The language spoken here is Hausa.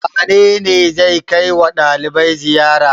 Wane ne zai kai wa ɗalibai ziyara?